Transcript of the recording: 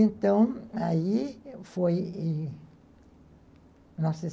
Então, aí foi em